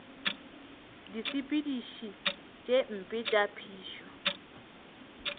disepediši tše mpe tša phišo